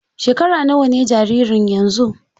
Shekara nawa ne jaririn yanzu?